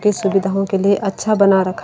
के सुविधाओं के लिए अच्छा बना रखा--